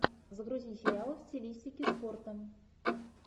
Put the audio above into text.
загрузи сериалы в стилистике спорта